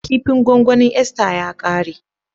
Kipin gwangwanin Esther ya kare.